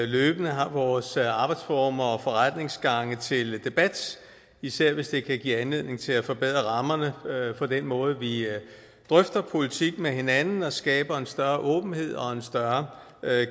løbende har vores arbejdsformer og forretningsgange til debat især hvis det kan give anledning til at forbedre rammerne for den måde vi drøfter politik med hinanden på og skabe en større åbenhed og en større